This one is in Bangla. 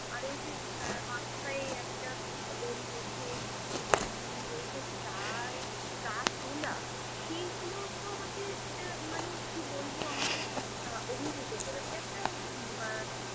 আর ওইযে আহ মাথায় একটা দড়ি বেধে পেছনে ঝুড়ি নিয়ে অইযে চা এ চা তোলা, সেইগুলো তো আমাকে আহ মানে কি বলবো আমাকে আহ অভিভূত করেছে।